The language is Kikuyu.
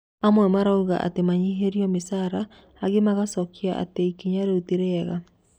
Amwe maugirĩ atĩ manyihĩrio mĩcara angĩ magĩcokia atĩ ikinya rĩu ti rĩega